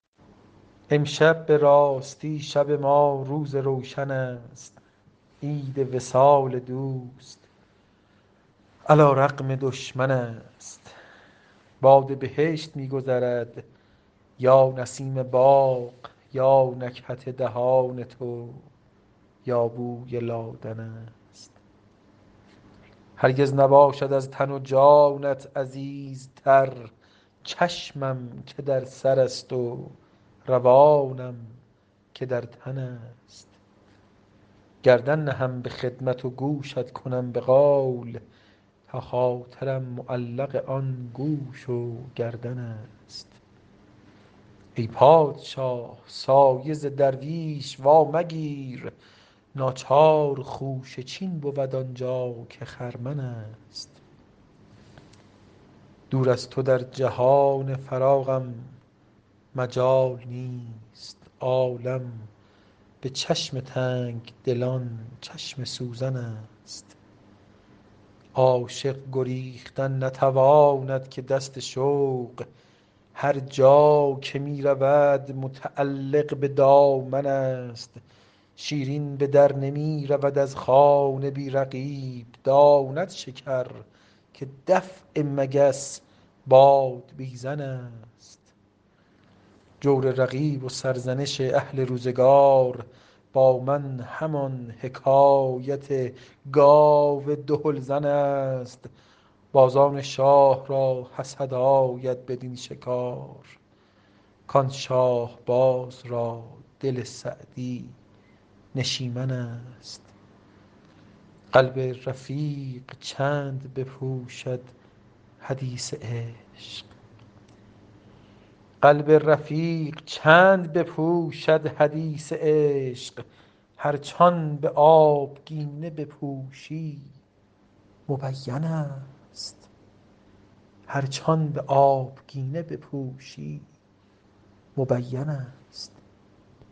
امشب به راستی شب ما روز روشن است عید وصال دوست علی رغم دشمن است باد بهشت می گذرد یا نسیم باغ یا نکهت دهان تو یا بوی لادن است هرگز نباشد از تن و جانت عزیزتر چشمم که در سرست و روانم که در تن است گردن نهم به خدمت و گوشت کنم به قول تا خاطرم معلق آن گوش و گردن است ای پادشاه سایه ز درویش وامگیر ناچار خوشه چین بود آن جا که خرمن است دور از تو در جهان فراخم مجال نیست عالم به چشم تنگ دلان چشم سوزن است عاشق گریختن نتواند که دست شوق هر جا که می رود متعلق به دامن است شیرین به در نمی رود از خانه بی رقیب داند شکر که دفع مگس بادبیزن است جور رقیب و سرزنش اهل روزگار با من همان حکایت گاو دهل زن است بازان شاه را حسد آید بدین شکار کان شاهباز را دل سعدی نشیمن است قلب رقیق چند بپوشد حدیث عشق هرچ آن به آبگینه بپوشی مبین است